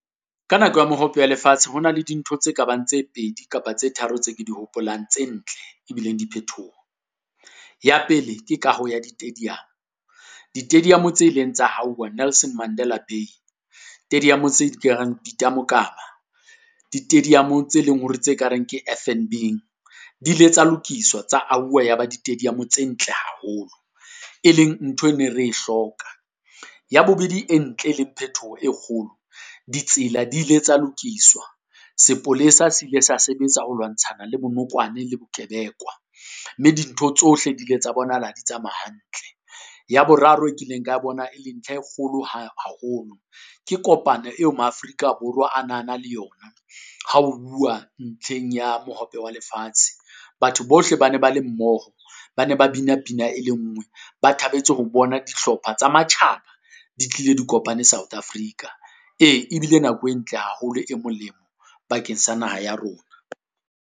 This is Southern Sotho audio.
Ka nako ya Mohope ya Lefatshe ho na le dintho tse kabang tse pedi kapa tse tharo tse ke di hopolang tse ntle e bileng diphethoho. Ya pele ke kaho ya di-tadium, di-stadium tse ileng tsa hauwa Nelson Mandela Bay, tse di ka reng Peter Mokaba, di-tadium tse leng hore tse ka reng ke F_N_B, di ile tsa lokiswa tsa auwa ya ba di-tadium tse ntle haholo, e leng ntho e ne re hloka. Ya bobedi e ntle e leng phetoho e kgolo, ditsela di ile tsa lokiswa. Sepolesa se ile sa sebetsa ho lwantshana le bonokwane le bo kebekwa, mme dintho tsohle di ile tsa bonahala ha di tsamaea hantle. Ya boraro e kileng ka bona e le nthla e kgolo haholo. Ke kopane eo ma-Afrika Borwa a na na le yona ha o bua ntlheng ya Mohope wa Lefatshe. Batho bohle ba ne ba le mmoho bana ba bina pina e le ngwe, ba thabetse ho bona dihlopha tsa matjhaba di tlile di kopane South Africa, ee e bile nako e ntle haholo e molemo bakeng sa naha ya rona.